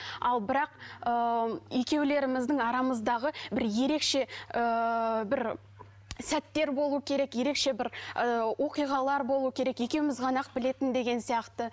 ал бірақ ыыы екеулеріміздің арамыздағы бір ерекше ыыы бір сәттер болуы керек ерекше бір ы оқиғалар болуы керек екеуміз ғана ақ білетін деген сияқты